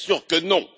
Bien sûr que non!